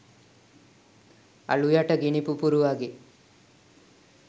අළු යට ගිනි පුපුරු වගේ